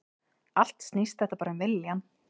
Allt snýst þetta bara um viljann